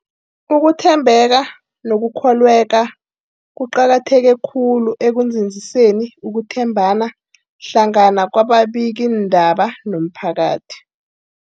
Ukuthembeka nokukholweka kuqakatheke khulu ekunzinziseni ukuthembana hlangana kwababikiindaba nomphakathi.